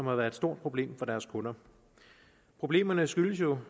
har været et stort problem for deres kunder problemerne skyldes jo